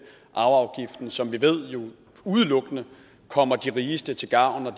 arveafgiften som vi jo ved udelukkende kommer de rigeste til gavn og